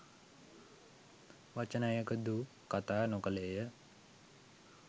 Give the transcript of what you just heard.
වචනයකුදු කතා නොකළේය.